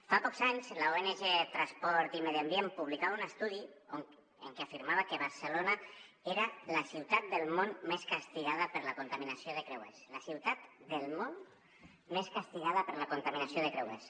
fa pocs anys l’ong transport i medi ambient publicava un estudi en què afirmava que barcelona era la ciutat del món més castigada per la contaminació de creuers la ciutat del món més castigada per la contaminació de creuers